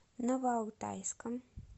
новоалтайском